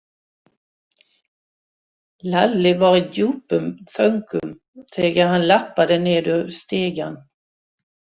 Lalli var í djúpum þönkum þegar hann labbaði niður stigann.